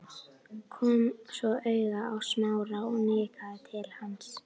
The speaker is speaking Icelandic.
Kom svo auga á Smára og nikkaði til hans.